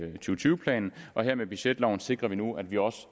tyve planen og her med budgetloven sikrer vi nu at vi også